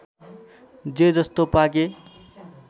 जे जस्तो पाके